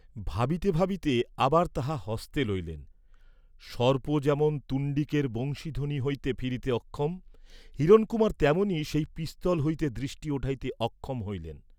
ভাবিতে ভাবিতে আবার তাহা হস্তে লইলেন, সর্প যেমন তুণ্ডিকের বংশীধ্বনি হইতে ফিরিতে অক্ষম, হিরণকুমার তেমনই সেই পিস্তল হইতে দৃষ্টি উঠাইতে অক্ষম হইলেন।